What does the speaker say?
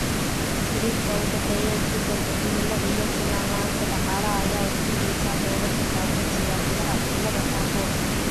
Xidhiidhka u dhexeeya isbeddelka cimilada iyo sinnaan la'aanta dhaqaalaha ayaa horseedaysa doodo ku saabsan siyaasadaha cimilada ku habboon.